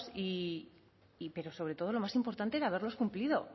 pero sobre todo lo más importante el haberlos cumplido